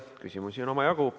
Küsimusi on omajagu.